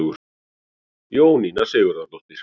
Jóninna Sigurðardóttir.